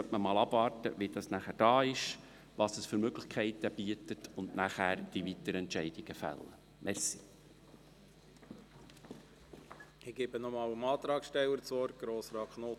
Danach müssen wir schauen, welche Möglichkeiten es beinhaltet, und dann müssen wir die weiteren Entscheidungen fällen.